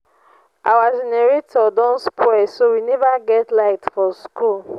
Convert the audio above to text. our generator don spoil so we never get light for school